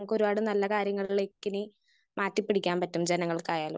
Speaker 1 ഒരുപാട് നല്ല കാര്യങ്ങളിലേക്കിനി മാറ്റി പിടിക്കാൻ പറ്റും ജനങ്ങൾക്കായാലും.